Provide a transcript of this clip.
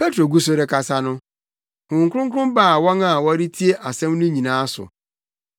Petro gu so rekasa no, Honhom Kronkron baa wɔn a wɔretie asɛm no nyinaa so.